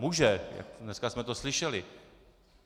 Může, dneska jsme to slyšeli.